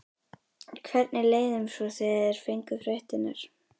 Hvernig leið þeim svo þegar þeir fengu fréttirnar?